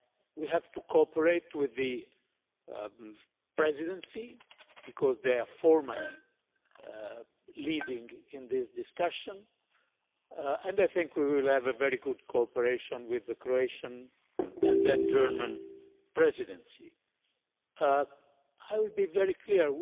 We have to cooperate with the Presidency because they are formally leading in this discussion, and I think we will have a very good cooperation with the Croatian and then German Presidencies. I will be very clear